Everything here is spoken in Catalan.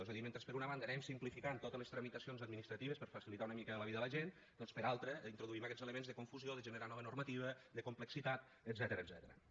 és a dir mentre per una banda anem simplificant totes les tramitacions administratives per facilitar una mica la vida a la gent doncs per l’altra introduïm aquests elements de confusió de generar nova normativa de complexitat etcètera